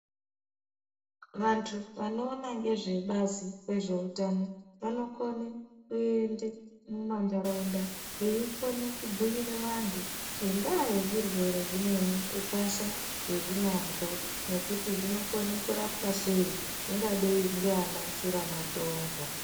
Vantu vano ona ngezve bazi re zveutano vanokone kuende mu mandaraunda veikona ku bhuyira vantu ngendaa ye zvirwere zvimweni ukasha wezvinazvo ngekuti zvinokona kurapwa sei zvingadai ndiana shura matongo.